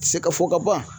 Se ka fɔ ka ban